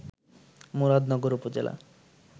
মুরাদনগর উপজেলা